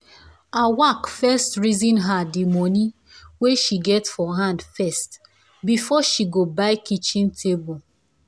awak first reason her the money wey she get for hand first before she go buy kitchen table.